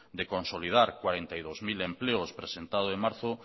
de consolidar cuarenta y dos mil empleos presentado en marzo